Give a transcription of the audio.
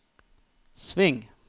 sving